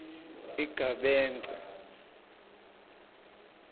igabence